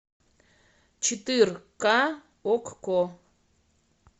четырка окко